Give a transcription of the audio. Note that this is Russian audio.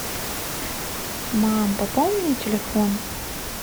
мам пополни мне телефон